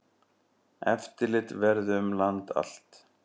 Eftirlit verði um land allt.